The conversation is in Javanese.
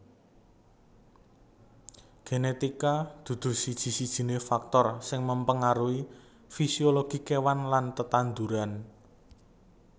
Genetika dudu siji sijiné faktor sing mengaruhi fisiologi kéwan lan tetanduran